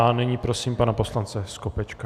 A nyní prosím pana poslance Skopečka.